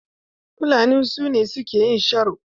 Fulani su ne suke yin sharo.